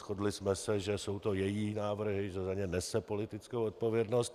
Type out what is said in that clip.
Shodli jsme se, že jsou to její návrhy, že za ně nese politickou odpovědnost.